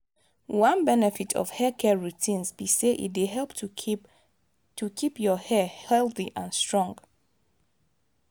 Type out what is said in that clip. one benefit of haircare routines be say e dey help to keep to keep your hair healthy and strong.